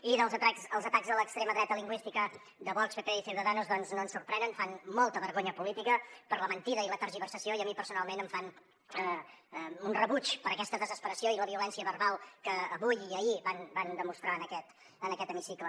i els atacs de l’extrema dreta lingüística de vox pp i ciudadanos doncs no ens sorprenen fan molta vergonya política per la mentida i la tergiversació i a mi personalment em fan un rebuig per aquesta desesperació i la violència verbal que avui i ahir van demostrar en aquest hemicicle